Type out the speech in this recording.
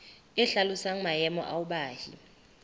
e hlalosang maemo ao baahi